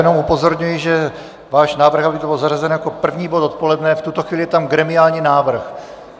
Jenom upozorňuji, že váš návrh, aby to bylo zařazené jako první bod odpoledne - v tuto chvíli je tam gremiální návrh.